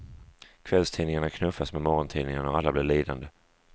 Kvällstidningarna knuffas med morgontidningarna och alla blir lidande.